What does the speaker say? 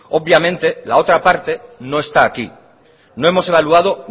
obviamente la otra parte no está aquí no hemos evaluado